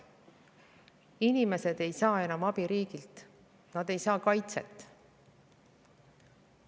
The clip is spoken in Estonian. Inimesed ei saa enam riigilt abi, nad ei saa kaitset.